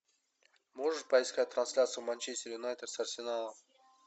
можешь поискать трансляцию манчестер юнайтед с арсеналом